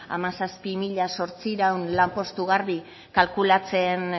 hamazazpi mila zortziehun lanpostu garbi kalkulatzen